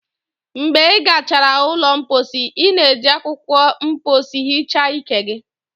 Mgbe ị gachara ụlọ mposi, ị na-eji akwụkwọ mposi hichaa ike gị